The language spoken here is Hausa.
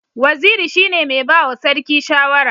Waziri shine mai bawa sarki shawara